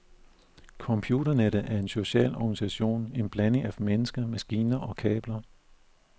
Computernettet er en social organisation, en blanding af mennesker, maskiner og kabler.